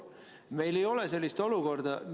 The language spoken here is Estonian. Meil ei ole sellist olukorda.